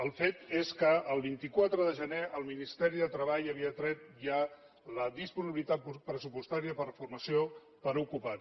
el fet és que el vint quatre de gener el ministeri de treball havia tret ja la disponibilitat pressupostària per a formació per a desocupats